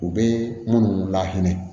U bɛ minnu lahinɛ